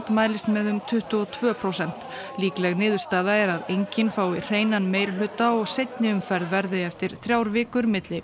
mælist með um tuttugu og tvö prósent líkleg niðurstaða er að enginn fái hreinan meirihluta og seinni umferð verði eftir þrjár vikur milli